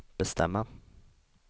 bestämma